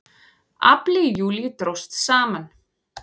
Afli í júlí dróst saman